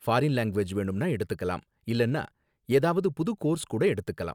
foreign language வேணும்னா எடுத்துக்கலாம் இல்லனா ஏதாவது புது கோர்ஸ் கூட எடுத்துக்கலாம்